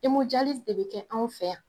de bɛ kɛ anw fɛ yan.